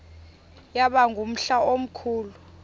yaba ngumhla omkhulu